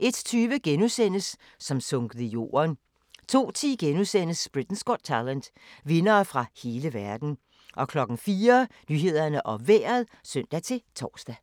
01:20: Som sunket i jorden * 02:10: Britain’s Got Talent - vindere fra hele verden * 04:00: Nyhederne og Vejret (søn-tor)